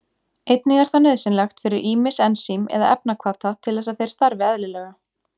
Einnig er það nauðsynlegt fyrir ýmis ensím eða efnahvata til þess að þeir starfi eðlilega.